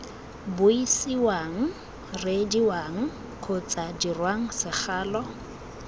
buisiwang reediwang kgotsa dirwang segalo